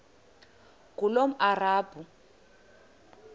ngulomarabu